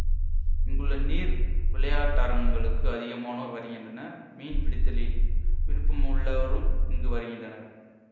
இங்குள்ள நீர் விளையாட்டரங்கங்களுக்கு அதிகமானோர் வருகின்றனர் மீன் பிடித்தலில் விருப்பமுள்ளோரும் இங்கு வருகின்றனர்